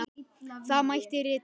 Þá mætti rita